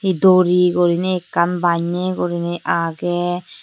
he dori gorinei ekkan banne gurinei age.